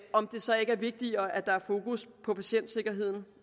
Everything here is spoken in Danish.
om det så ikke er vigtigere at der er fokus på patientsikkerheden